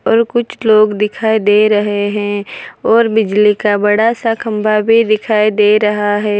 और कुछ लोग दिखाई दे रहे है और बिजली का बड़ा सा खंबा भी दिखाई दे रहा है।